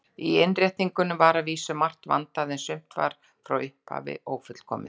Í innréttingunni var að vísu margt vandað, en sumt var frá upphafi ófullkomið.